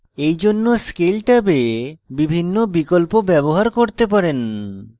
এই জন্য scale ট্যাবে বিভিন্ন বিকল্প ব্যবহার করতে পারেন